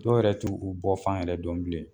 Dɔw yɛrɛ t'u u bɔ fan yɛrɛ dɔn bilen.